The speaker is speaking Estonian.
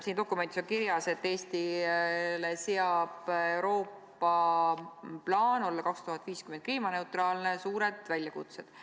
Siin dokumendis on kirjas, et Eestile seab Euroopa plaan olla aastaks 2050 kliimaneutraalne suured väljakutsed.